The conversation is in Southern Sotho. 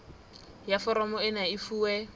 ya foromo ena e fuwe